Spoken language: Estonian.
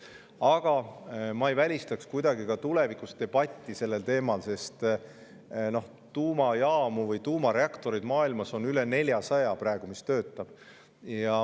Aga ma ei välistaks tulevikus debatti sellel teemal, sest tuumajaamu või tuumareaktoreid, mis töötavad, on maailmas praegu üle 400.